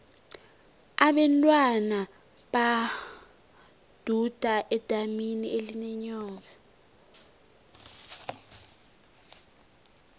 abentwana baduda edamini elinenyoka